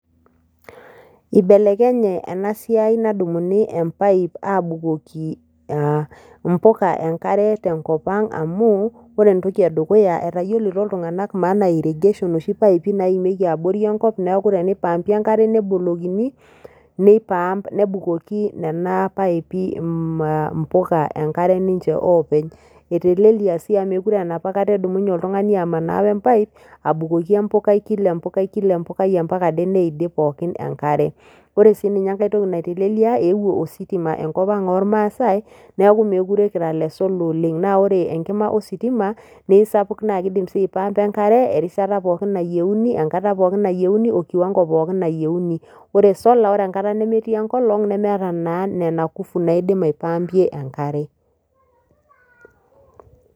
Ibelekenye ena siai nadumuni empaip abukoki a mpuka enkare tenkop ang amu ore entoki edukuya etayiolito iltunganak maana e irrigation ashu mpaipi naimieki abori enkop niaku tenipaipi enkare nebolokini , nebukoki, nipump nena paipi aa mpuka enkare ninche openy. Etelelia sii amu mekure aa enapakata edumunye oltungani amanaa empipe abukoki empukai , kila empukai, kila empukai ampaka ade neidip pookin enkare . Ore sininye enkae toki naitelelia , eewuo ositima enkop ang ormaasae niaku mookire kire ile solar oleng , naa ore enkima ositima naa isapuka naa kidim sii aipampa enkare erishata pookin nayieuni, enkata pookin nayieuni , okiwango pookin nayieuni . Ore solar ore enkata nemetii enkolong , nemeeta naa nena kufu naidim aipampie enkare .